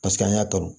Paseke an y'a kanu